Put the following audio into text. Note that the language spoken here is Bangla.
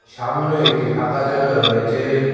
সামনে একটি ফাঁকা জাগা রয়েছে।